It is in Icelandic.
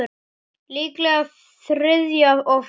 Líklega þriðja og fimmta